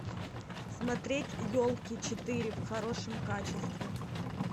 смотреть елки четыре в хорошем качестве